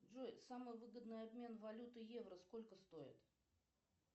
джой самый выгодный обмен валюты евро сколько стоит